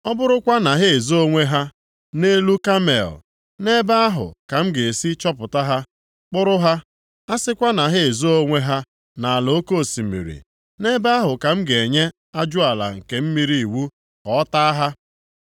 Ọ bụrụkwa na ha ezoo onwe ha nʼelu Kamel nʼebe ahụ ka m ga-esi chọpụta ha, kpụrụ ha, a sịkwa na ha ezoo onwe ha nʼala oke osimiri, nʼebe ahụ ka m ga-enye ajụala nke mmiri iwu ka ọ taa ha.